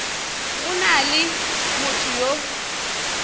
go na le motho yo